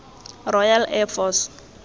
royal air force